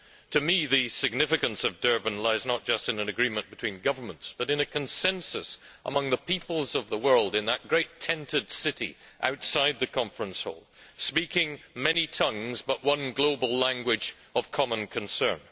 To me, the significance of Durban lies not just in an agreement between governments, but in a consensus among the peoples of the world in that great tented city outside the conference hall, speaking many tongues, but with one global language of common concern.